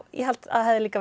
ég held að það hefði líka